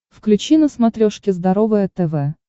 включи на смотрешке здоровое тв